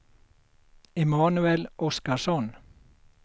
Emanuel Oskarsson